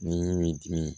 Ni min dim